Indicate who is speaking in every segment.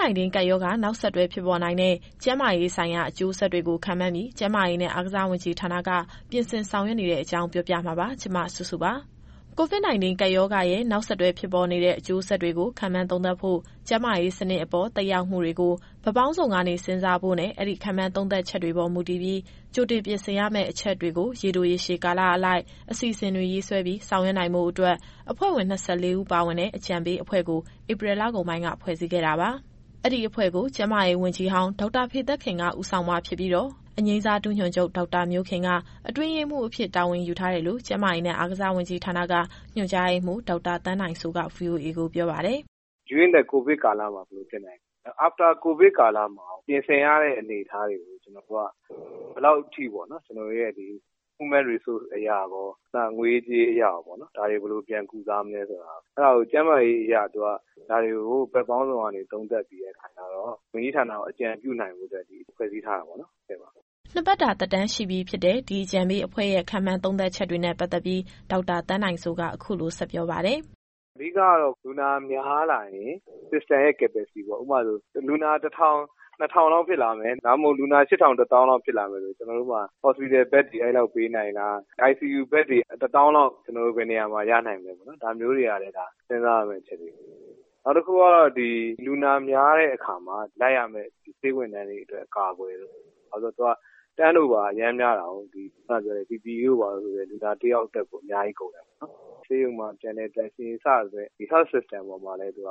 Speaker 1: -19 ကပ်ရောဂါ နောက်ဆက်တွဲဖြစ်ပေါ်နိုင်တဲ့ ကျန်းမာရေးဆိုင်ရာအကျိုးဆက်တွေကို ခန့်မှန်းပြီး ကျန်းမာရေးနဲ့ အားကစားဝန်ကြီးဌာနက ပြင်ဆင်ဆောင်ရွက်နေတဲ့အကြောင်းကို ဗွီအိုအေမြန်မာပိုင်းသတင်းထောက် မစုစုက ပြောပြမှာပါ။ COVID-19 ကပ်ရောဂါရဲ့ နောက်ဆက်တွဲဖြစ်ပေါ်နိုင်တဲ့ အကျိုးဆက်တွေကို ခန့်မှန်းသုံးသပ်ဖို့၊ ကျန်းမာရေးစနစ်အပေါ် သက်ရောက်မှုတွေကို ဘက်ပေါင်းစုံကနေ စဉ်းစားဖို့နဲ့ အဲဒီ ခန့်မှန်းသုံးသပ်ချက်တွေပေါ် မူတည်ပြီး ကြိုတင်ပြင်ဆင်ရမယ့်အချက်တွေကို ရေတို၊ ရေရှည်ကာလအလိုက် အစီအစဉ်တွေရေးဆွဲပြီး ဆောင်ရွက်နိုင်ဖို့အတွက် အဖွဲ့ဝင် ၂၄ ဦးပါဝင်တဲ့ အကြံပေးအဖွဲ့ကို ဧပြီလကုန်ပိုင်းမှာ ဖွဲ့စည်းခဲ့တာပါ။ အဲဒီအဖွဲ့ကို ကျန်းမာရေးဝန်ကြီးဟောင်း ဒေါက်တာဖေသက်ခင်က ဦးဆောင်မှာဖြစ်ပြီး အငြိမ်းစားဒုညွှန်ချုပ် ဒေါက်တာမျိုးခင်က အတွင်းရေးမှူးအဖြစ် တာဝန်ယူထားတယ်လို့ ကျန်းမာရေးနဲ့ အားကစားဝန်ကြီးဌာနက ညွှန်ကြားရေးမှူး ဒေါက်တာသန်းနိုင်စိုးက VOA ကိုပြောပါတယ်
Speaker 2: ။ “During the COVID ကာလမှာ ဘယ်လိုဖြစ်နိုင်သလဲ။ after COVID ကာလမှာရော ပြင်ဆင်ရတဲ့အနေအထားတွေကို ဘယ်လောက်အထိပေါ့နော် ကျနော်တို့ရဲ့ Human Resource အရရော၊ နောက် ငွေရေး၊ ကြေးရေးအရရောပေါ့နော်။ ဒါတွေဘယ်လိုပြန်ကုစားမလဲဆိုတာ။ အဲဒါကို ကျန်းမာရေးအရ ဒါတွေကို ဘက်ပေါင်းစုံကနေ သုံးသပ်ပြီးတဲ့အခါကျတော့ ဝန်ကြီးဌာနကို အကြံပြုနိုင်ဖို့အတွက် ဖွဲ့စည်းထားတာပေါ့နော်။”
Speaker 1: နှစ်ပတ်တာ သက်တမ်းရှိပြီဖြစ်တဲ့ ဒီအကြံပေးအဖွဲ့ရဲ့ ခန့်မှန်းသုံးသပ်ချက်တွေနဲ့ ပတ်သက်ပြီး ဒေါက်တာသန်းနိုင်စိုးက အခုလိုဆက်ပြောပါတယ်။
Speaker 2: “အဓိကတော့ လူနာများလာရင် System ရဲ့ Capacity ပေါ့။ ဥပမာဆိုရင် လူနာ ၁,၀၀၀ - ၂,၀၀၀ လောက်ဖြစ်လာမယ်။ ဒါမှမဟုတ် လူနာ ၈,၀၀၀ - ၁၀,၀၀၀ လောက်ဖြစ်လာမယ်ဆို ကျနော်တို့မှာ Hospital Bed တွေ အဲလောက်ပေးနိုင်လား။ ICU Bed တွေ ၁၀,၀၀၀ လောက် ဘယ်နေရာမှာ ရနိုင်မလဲပေါ့နော်။ ဒါမျိုးတွေကလည်း စဉ်းစားရမယ့်အချက်တွေပေါ့နော်။ နောက်တခုက လူနာများတဲ့အခါမှာ လိုက်ရမယ့် ဆေးဝန်ထမ်းတွေအတွက် အကာအကွယ်တို့၊ ဘာလို့လဲဆိုရင် သူက Turnover အရမ်းများတာကို။ ဒီ PPE ဆိုလည်း လူနာတယောက်အတွက်ကို အများကြီးကုန်တယ်ပေါ့နော်။ ဆေးရုံမှာ ကျန်တဲ့ သန့်ရှင်းရေးဝန်ထမ်းတို့ စတဲ့ ဒီ Health System ပေါ်မှာလည်း ကို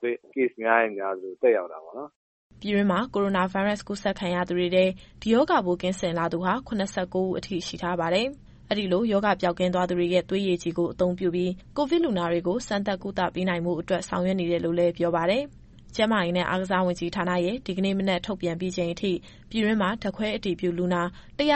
Speaker 2: ဗစ် Case များရင်များသလို သက်ရောက်တာ
Speaker 1: ပေါ့နော်။” ပြည်တွင်းမှာ ကိုရိုနာဗိုင်းရပ်စ် ကူးစက်ခံရသူတွေထဲ ဒီရောဂါပိုးကင်းစင်လာသူဟာ ၇၉ ဦးအထိ ရှိထားပါတယ်။ အဲဒီလို ရောဂါပျောက်ကင်းသွားသူတွေရဲ့ သွေးရည်ကြည်ကို အသုံးပြုပြီး ကိုဗစ်လူနာတွေကို စမ်းသပ်ကုသပေးနိုင်ဖို့အတွက် ဆောင်ရွက်နေတယ်လို့လည်း ပြောပါတယ်။ ကျန်းမာရေးနဲ့ အားကစားဝန်ကြီးဌာနရဲ့ ဒီကနေ့ မနက်ထုတ်ပြန်ပြီးချိန်အထိ ပြည်တွင်းမှာ ဓာတ်ခွဲအတည်ပြုလူနာ ၁၈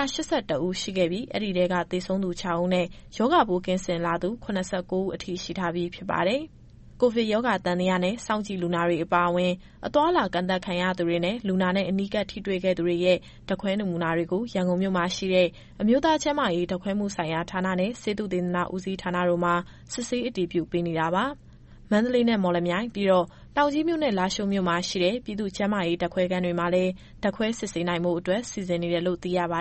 Speaker 1: ၁ ဦး ရှိခဲ့ပြီး အဲဒီထဲက သေဆုံးသူ ၆ ဦးနဲ့ ရောဂါပိုးကင်းစင်လာသူ ၇၉ ဦးအထိ ရှိထားပြီးဖြစ်ပါတယ်။ ကိုဗစ်ရောဂါသံသယနဲ့ စောင့်ကြည့်လူနာတွေအပါအဝင် အသွားအလာကန့်သတ်ခံထားရသူတွေနဲ့ လူနာနဲ့ အနီးကပ်ထိတွေ့ခဲ့သူတွေရဲ့ ဓာတ်ခွဲနမူနာတွေကို ရန်ကုန်မြို့မှာရှိတဲ့ အမျိုးသား ကျန်းမာရေးဓာတ်ခွဲမှုဆိုင်ရာဌာနနဲ့ ဆေးသုတေသနဦးစီးဌာနတို့မှာ စစ်ဆေးအတည်ပြုပေးနေတာပါ။ မန္တလေးနဲ့ မော်လမြိုင် ပြီးတော့ တောင်ကြီးမြို့နဲ့ လားရှိုးမြို့မှာရှိတဲ့ ပြည်သူ့ကျန်းမာရေး ဓာတ်ခွဲခန်းတွေမှာလည်း ဓာတ်ခွဲစစ်ဆေးနိုင်ဖို့အတွက် စီစဉ်နေတယ်လို့ သိရပါ